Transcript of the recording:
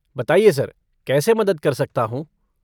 बताइए सर, कैसे मदद कर सकता हूँ?